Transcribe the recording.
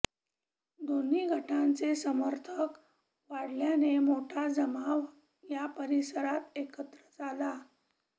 दोन्ही गटांचे समर्थक वाढल्याने मोठा जमाव या परिसरात एकत्र झाला